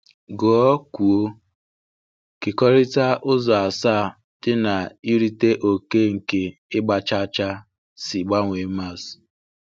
Gụọkwuo Kekọrịta Ụzọ Asaa dị na Irite Oke nke Ịgba Chaa Chaa si Gbanwee Maths